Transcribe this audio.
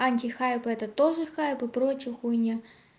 антихайп это тоже хайп и прочая хуйня